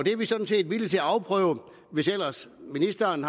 er vi sådan set villige til at afprøve hvis ellers ministeren